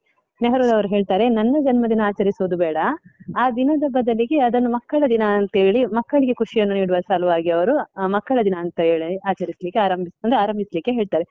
ನೆಹರುರವ್ರು ಹೇಳ್ತಾರೆ, ನನ್ನ ಜನ್ಮದಿನ ಆಚರಿಸೋದು ಬೇಡ, ಆ ದಿನದ ಬದಲಿಗೆ ಅದನ್ನು ಮಕ್ಕಳ ದಿನಾ ಅಂತ ಹೇಳಿ ಮಕ್ಕಳಿಗೆ ಖುಷಿಯನ್ನು ನೀಡುವ ಸಲುವಾಗಿ ಅವರು ಅಹ್ ಮಕ್ಕಳ ದಿನ ಅಂತ ಹೇಳಿ ಆಚರಿಸ್ಲಿಕ್ಕೆ ಆರಂಬಿಸಿ ಆರಂಭಿಸ್ಲಿಕ್ಕೆ ಹೇಳ್ತಾರೆ.